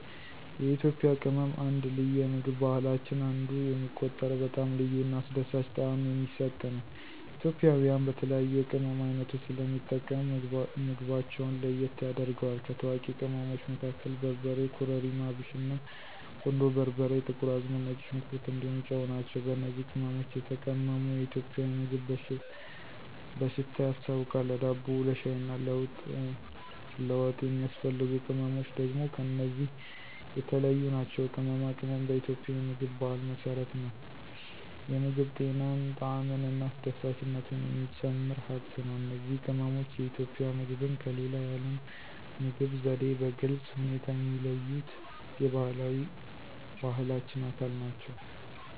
የኢትዮጵያ ቅመም አንደ ልዩ የምግብ ባህላችን አንዱ የሚቆጠረው በጣም ልዩ እና አስደሳች ጣዕም የሚሰጥ ነው። ኢትዮጵያውያን በተለያዩ የቅመም ዓይነቶች ስለሚጠቀሙ ምግባቸውን ለየት ያደርገዋል። ከታዋቂ ቅመሞቹ መካከል በርበሬ, ኮረሪማ፣ አብሽና, ቁንዶ በርበሬ፣ ጥቁር አዝሙድ፣ ነጭ ሽንኩር እንዲሁም ጨው ናቸው። በእነዚህ ቅመሞች የተቀመመ የኢትዮጵያ ምግብ በሽታ ያስታውቃል፣ ለዳቦ፣ ለሻይ እና ለወጥ የሚያስፈልጉ ቅመምች ደግም ከነዚህ የተለዮ ናቸው። ቅመማ ቅመም በኢትዮጵያ የምግብ ባህል መሰረት ነው፤ የምግብ ጤናን፣ ጣዕምን እና አስደሳችነቱን የሚጨምር ሃብት ነው። እነዚህ ቅመሞች የኢትዮጵያ ምግብን ከሌላ የዓለም ምግብ ዘዴ በግልጽ ሁኔታ የሚለዩት የባህላዊ ባህላችን አካል ናቸው።